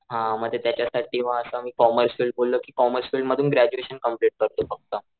हा म ते त्याच्यासाठी म असं मी कॉमर्स फिल्ड बोललो कि कॉमर्स फिल्ड मधून ग्रॅज्युएशन कंप्लेंट करतो फक्त.